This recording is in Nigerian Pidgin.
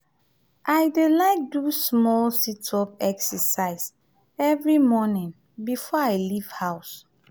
i dey like do small sit-up exercise every morning before i leave house.